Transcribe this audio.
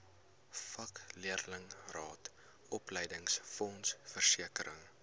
vakleerlingraad opleidingsfonds versekering